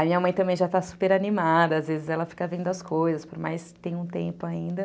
A minha mãe também já está super animada, às vezes ela fica vendo as coisas, por mais que tenha um tempo ainda.